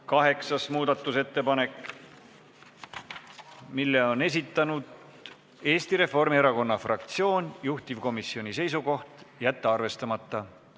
Kaheksas muudatusettepanek, mille on esitanud Eesti Reformierakonna fraktsioon, juhtivkomisjoni seisukoht: jätta arvestamata.